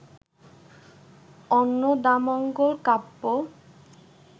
Annadamangal Kabya